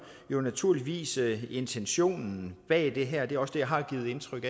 naturligvis intentionen bag det her og det er også det jeg har givet udtryk